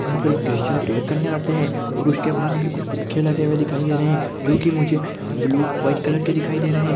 यहाँ पर लोग क्रिश्चियन प्रैअर करने आते है और उसके बाहर कुछ फुग्गे लगे हुए दिखाइ दे रहे है जो कि मुझे ब्लू व्हाइट कलर के दिखाइ दे रहे है।